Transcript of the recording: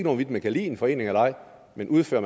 hvorvidt man kan lide en forening eller ej men udfører